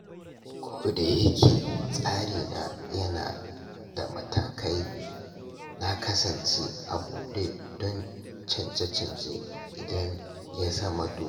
Koda yake tsarina yana da matakai, na kasance a buɗe don canje-canje idan ya zama dole.